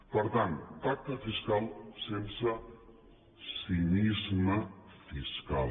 per tant pacte fiscal sense cinisme fiscal